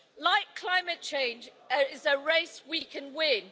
Like climate change, it is a race we can win.